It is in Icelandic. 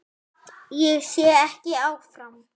Ég sé ekki áfram.